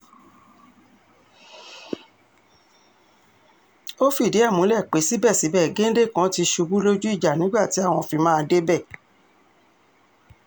ó fìdí ẹ̀ múlẹ̀ pé síbẹ̀síbẹ̀ géńdé kan ti ṣubú lójú ìjà nígbà tí àwọn fi máa débẹ̀